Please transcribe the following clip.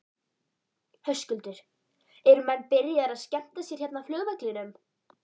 Höskuldur: Eru menn byrjaðir að skemmta sér hérna á flugvellinum?